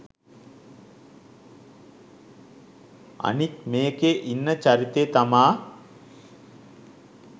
අනික් මේකේ ඉන්න චරිතේ තමා